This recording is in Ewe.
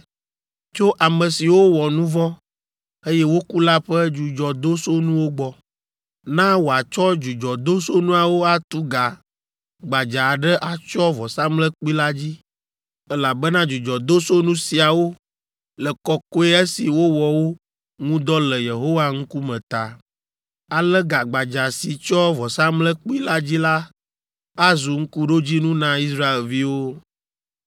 tso ame siwo wɔ nu vɔ̃, eye woku la ƒe dzudzɔdosonuwo gbɔ. Na wòatsɔ dzudzɔdosonuawo atu ga gbadza aɖe atsyɔ vɔsamlekpui la dzi, elabena dzudzɔdosonu siawo le kɔkɔe esi wowɔ wo ŋu dɔ le Yehowa ŋkume ta. Ale ga gbadza si tsyɔ vɔsamlekpui la dzi la azu ŋkuɖodzinu na Israelviwo.”